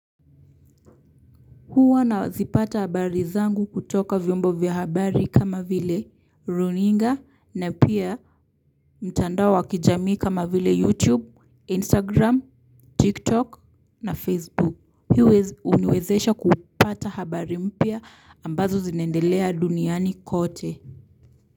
Huwa nazipata habari zangu kutoka vyombo vya habari kama vile runinga na pia mtandao wa kijamii kama vile YouTube, Instagram, TikTok na Facebook. Hii huniwezesha kupata habari mpya ambazo zinaendelea duniani kote.